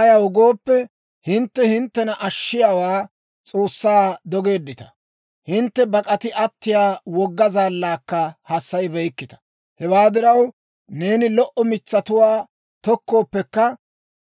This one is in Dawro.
Ayaw gooppe, hintte hinttena Ashshiyaa S'oossaa dogeeddita; hintte bak'ati attiyaa wogga Zaallaakka hassayibeykkita. Hewaa diraw, neeni lo"o mitsatuwaa tokkooppekka,